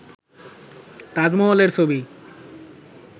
তাজমহলের ছবি